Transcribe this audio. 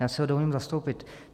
Já si ho dovolím zastoupit.